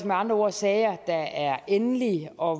med andre ord sager der er endelige og